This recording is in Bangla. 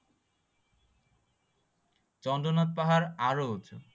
চন্দ্রনাথ পাহাড় আরো উঁচু